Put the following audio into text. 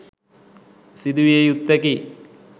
සිදු විය යුත්තකි